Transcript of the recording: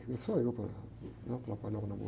Quem sou eu para, né? Atrapalhar o namoro